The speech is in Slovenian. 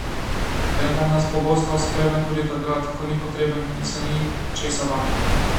Vendar nas pogosto spremlja tudi takrat, ko ni potreben in se ni česa bati.